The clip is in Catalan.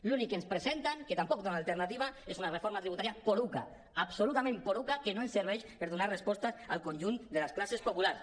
l’únic que ens presenten que tampoc dona alternativa és una reforma tributària poruga absolutament poruga que no ens serveix per donar respostes al conjunt de les classes populars